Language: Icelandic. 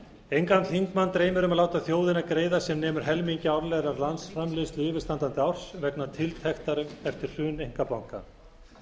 engan þingmann dreymir um að láta þjóðina greiða sem nemur helmingi árlegrar landsframleiðslu yfirstandandi árs vegna tiltektar eftir hrun einkabanka